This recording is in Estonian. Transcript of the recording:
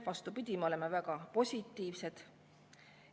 Vastupidi, me oleme väga positiivsed.